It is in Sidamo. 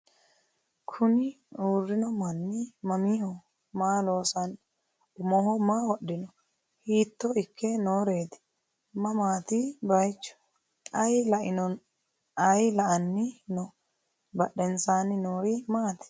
Kunni uurinno manni mamaiho? Maa loosanno? Umoho maa wodhinno? Hiitto ikke nooreetti? Mamaatti bayiichu? Ayi la'anni noo? Badheennsaanni noori maatti?